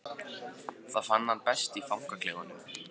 Það fann hann best í fangaklefanum.